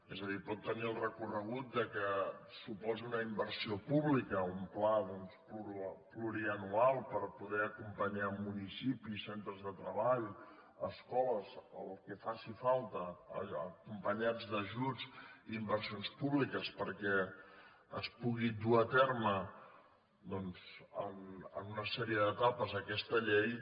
és a dir pot tenir el recorregut que suposi una inversió pública o un pla plurianual per poder acompanyar municipis centres de treball escoles o el que faci falta acompanyats d’ajuts i inversions públiques perquè es pugui dur a terme doncs en una sèrie d’etapes aquesta llei